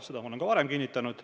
Seda ma olen ka varem kinnitanud.